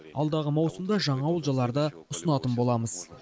алдағы маусымда жаңа олжаларды ұсынатын боламыз